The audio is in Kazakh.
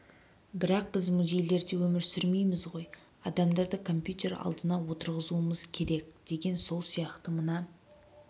бірақ біз музейлерде өмір сүрмейміз ғой адамдарды компьютер алдына отырғызуымыз керек деген сол сияқты мына